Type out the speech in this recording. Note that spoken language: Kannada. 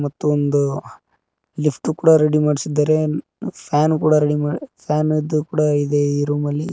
ಮತ್ತು ಒಂದು ಲಿಫ್ಟ್ ಕೂಡ ರೆಡಿ ಮಾಡ್ಸಿದ್ದಾರೆ ಫ್ಯಾನ್ ಕೂಡ ರೆಡಿಮಾ ಫ್ಯಾನ್ ಇದು ಕೂಡ ಇದೆ ಈ ರೂಮಲ್ಲಿ.